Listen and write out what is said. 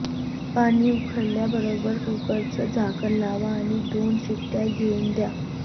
पाणी उकळल्याबरोबर कुकरचं झाकण लावा आणि दोन शिट्ट्या येऊ द्या